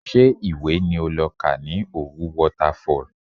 Ṣé ìwé ni o lọ kà ní Òwu Waterfall?